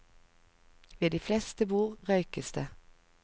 Ved de fleste bord røykes det.